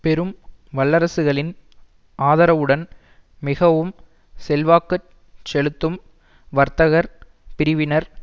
பெரும் வல்லரசுகளின் ஆதரவுடன் மிகவும் செல்வாக்கு செலுத்தும் வர்த்தகர் பிரிவினர்